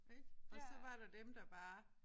Ik og så var der dem der bare